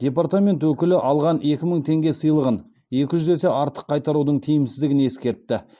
департамент өкілі алған екі мың теңге сыйлығын екі жүз есе артық қайтарудың тиімсіздігін ескертті